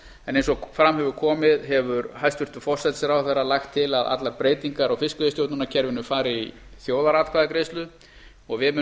en eins og fram hefur hefur hæstvirtur forsætisráðherra lagt til að allar breytingar á fiskveiðistjórnarkerfinu fari í þjóðaratkvæðagreiðslu og við munum